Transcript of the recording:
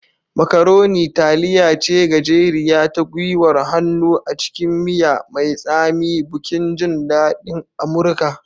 Macaroni taliya ce gajeriya ta gwiwar hannu a cikin miya mai tsami, bukin jin daɗin Amurka.